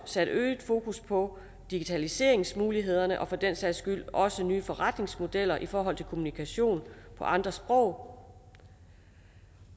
sat øget fokus på digitaliseringsmulighederne og for den sags skyld også nye forretningsmodeller i forhold til kommunikation på andre sprog